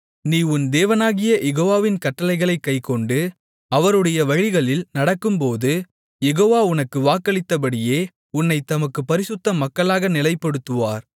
நீ உன் தேவனாகிய யெகோவாவின் கட்டளைகளைக் கைக்கொண்டு அவருடைய வழிகளில் நடக்கும்போது யெகோவா உனக்கு வாக்களித்தபடியே உன்னைத் தமக்குப் பரிசுத்த மக்களாக நிலைப்படுத்துவார்